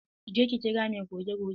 Je ki kira mai goge gogen!